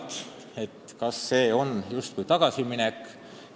Kalle Laanet küsis, kas see on justkui tagasiminek.